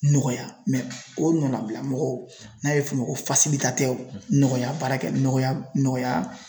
Nɔgɔya o ɲɔnnabila mɔgɔw n'a bɛ f'o ma ko nɔgɔya baarakɛ nɔgɔya nɔgɔya